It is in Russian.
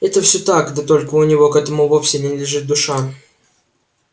это всё так да только у него к этому вовсе не лежит душа